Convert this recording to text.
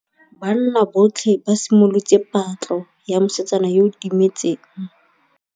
Banna botlhê ba simolotse patlô ya mosetsana yo o timetseng.